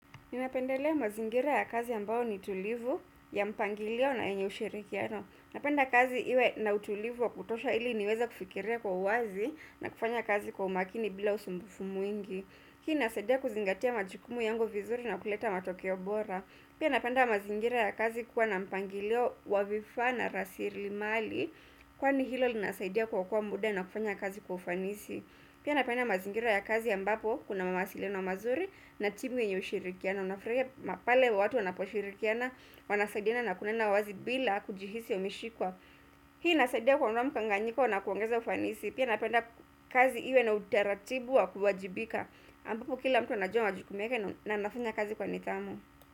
Ninapendelea mazingira yakazi ambayo ni tulivu ya mpangilio na yenye ushirikiano. Napenda kazi iwe na utulivu wa kutosha ili niweza kufikiria kwa uwazi na kufanya kazi kwa umakini bila usumbufu mwingi. Hii inasaidia kuzingatia majukumu yangu vizuri na kuleta matokeo bora. Pia napenda mazingira ya kazi kuwa na mpangilio wa vifaa na rasilimali kwa ni hilo linasaidia kuokoa muda na kufanya kazi kufanisi. Pia napenda mazingira ya kazi ambapo kuna mawasiliano mazuri na timu yenye ushirikiana. Unafutahia pale watu wanaposhirikiana, wanasaidina na kunena wazi bila kujihisi wameshikwa. Hii inasaidia kuondoa mkanganyiko na kuongeza ufanisi. Pia napenda kazi iwe na utaratibu wa kuwajibika. Ambapo kila mtu anajua jukumu lake na anafanya kazi kwa nidhamu.